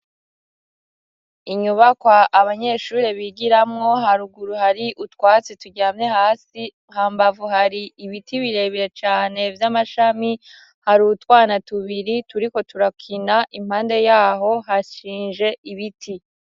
Inyubaka abanyeshure bigiramo, haruguru hari utwatsi turyamye hasi, hambavu hari ibiti birebere cane vy'amashami. Hari utwana tubiri turiko turakina ; impande yaho hashinje ibiti.